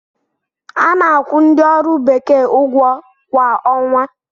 A na-akwụ ndi ọrụ bekee ụgwọ kwa ọnwa.